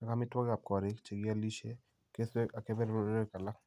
ak amitwogikap kooriik , che kialisye , kesweek , ak kebeberwek alak .